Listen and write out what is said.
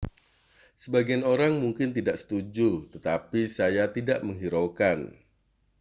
sebagian orang mungkin tidak setuju tetapi saya tidak menghiraukan